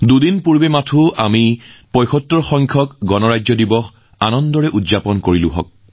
দুদিন পূৰ্বে আমি সকলো দেশবাসীয়ে ৭৫সংখ্যক গণৰাজ্য দিৱস অতি আড়ম্বৰেৰে উদযাপন কৰিলোঁ